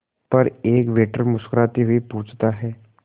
पर एक वेटर मुस्कुराते हुए पूछता है